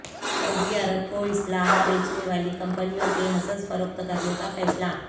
سعودی عرب کو اسلحہ بیچنے والی کمپنیوں کے حصص فروخت کرنےکا فیصلہ